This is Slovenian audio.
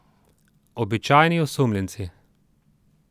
Običajni osumljenci.